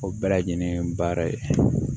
O bɛɛ lajɛlen baara ye